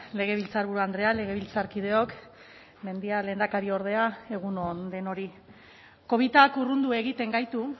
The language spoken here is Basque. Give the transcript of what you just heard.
legebiltzarburu andrea legebiltzarkideok mendia lehendakariordea egun on denoi covidak urrundu egiten gaitu